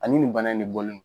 Ani nin bana nin ne bɔlen no.